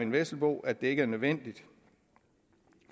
vesselbo at det ikke er nødvendigt